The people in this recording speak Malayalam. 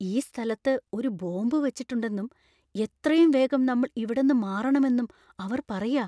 ഈ സ്ഥലത്ത് ഒരു ബോംബ് വച്ചിട്ടുണ്ടെന്നും എത്രയും വേഗം നമ്മൾ ഇവിടെന്നു മാറണമെന്നും അവർ പറയാ.